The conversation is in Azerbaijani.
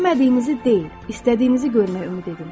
İstəmədiyinizi deyil, istədiyinizi görmək ümid edin.